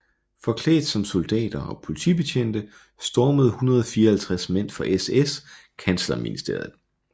Forklædt som soldater og politibetjente stormede 154 mænd fra SS kanslerministeriet